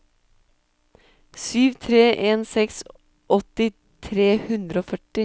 sju tre en seks åtti tre hundre og førti